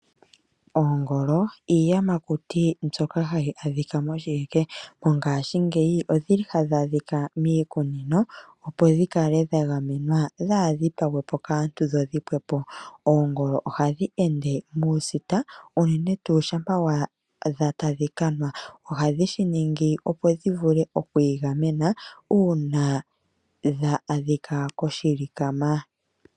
Oongolo iiyamakuti mbyoka hayi adhika moshiheke mongaashingeyi odhili hadhi adhika miikunino opo dhikale dhagamenwa dhaadhipagwe po kaantu dho dhipwepo. Oongolo ohadhi ende muusita uunene tuu shampa waadha tadhi kanwa ohadhi shiningi opo dhivule okwiigamena uuna dha adhika koshilikama.